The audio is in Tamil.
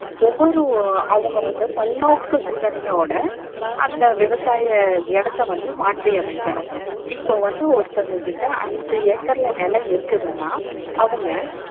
ஒவ்வொரு அவுங்க வந்து பல்நோக்க சிந்தன்னை ஓட அந்த விவசாய எடத்த வந்து மாற்றி அமைக்கணும் இப்போ வந்து ஒருத்தவங்க கிட்ட ஐஞ்சு ஏக்கர்ல நலம் இருக்குதுன்னா அவுங்க